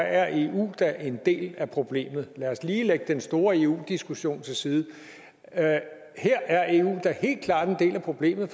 er eu da en del af problemet lad os lige lægge den store eu diskussion til side her er eu da helt klart en del af problemet